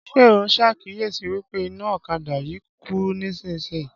Ṣé o ṣàkíyesi wípé iná ọ̀kadà yí kú nísìsiyìí